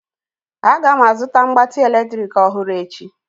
Aga m azụta mgbatị eletrik ọhụrụ echi